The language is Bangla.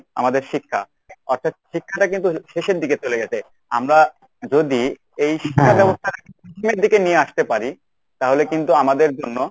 আমাদের শিক্ষা অর্থাৎ শিক্ষাটা কিন্তু শেষের দিকে চলে গেছে। আমরা যদি এই দিকে নিয়ে আসতে পারি তাহলে কিন্তু আমাদের জন্য